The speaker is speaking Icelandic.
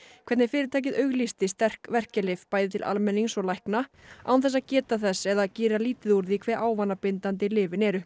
hvernig fyrirtækið auglýsti sterk verkjalyf bæði til almennings og lækna án þess að geta þess eða gera lítið úr því hve ávanabindandi lyfin eru